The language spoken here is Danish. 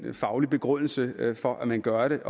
en faglig begrundelse for at man gør det